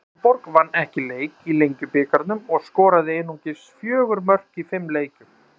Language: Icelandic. Árborg vann ekki leik í Lengjubikarnum og skoraði einungis fjögur mörk í fimm leikjum.